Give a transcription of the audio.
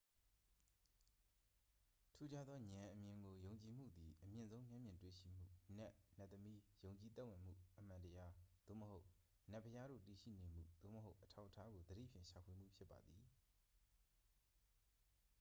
ထူးခြားသောဉာဏ်အမြင်ကို ယုံကြည်မှုသည် အမြင့်ဆုံး မျက်မြင်တွေ့ရှိမှု နတ် နတ်သမီး ယုံကြည်သက်ဝင်မှု အမှန်တရား သို့မဟုတ် နတ်ဘုရားတို့ တည်ရှိနေမှု သို့မဟုတ် အထောက်အထားကို သတိဖြင့် ရှာဖွေမှု ဖြစ်ပါသည်